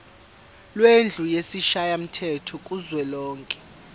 lendlu yesishayamthetho kuzwelonke